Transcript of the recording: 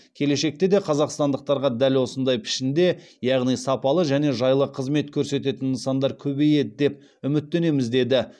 келешекте де қазақстандықтарға дәл осындай пішінде яғни сапалы және жайлы қызмет көрсететін нысандар көбейеді деп үміттенеміз деді